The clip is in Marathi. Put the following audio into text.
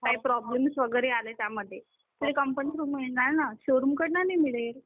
काही प्रॉब्लम्स वगैरे आले त्यामध्ये तर कंपनीकडून मिळणार ना शोरूम कडे नाही मिळेल